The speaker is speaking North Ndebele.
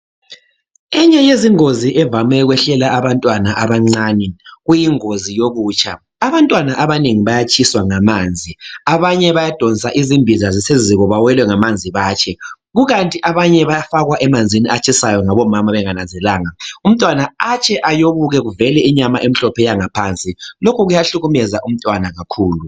Enye yezingozi evame ukwehlela abantwana abancane, kuyingozi yokutsha. Abantwana abanengi bayatshiswa ngamanzi. Abanye bayadonsa izimbiza ziseziko, bawelwe ngamanzi batshe. Kukanti abanye bayafakwa emanzini atshisayo, ngabomama bengananzelele. Umntwana etshe ayobuke kuvele inyama emhlophe yangaphansi. Lokhu kuyahlukumeza umntwana kakhulu.